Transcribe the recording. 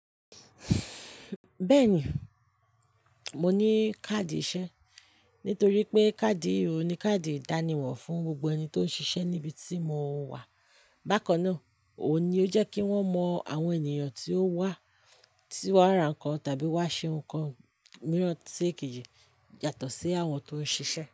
Bẹ́ẹ̀ni, mo ní káàdì iṣẹ́. Nítorí pé káàdì yìí ò ní káàdì ìdánimọ̀ fún gbogbo ẹni tó ń ṣiṣẹ́ níbi tí mo wà. Bákan náà, òun ni ó jẹ́ kí wọ́n mọ àwọn ènìyàn tí ó wá, tí wọ́n ra nǹkan tàbí wá ṣe nǹkan mìíràn tí èkejì yàtọ̀ sí àwọn tó ń ṣiṣẹ́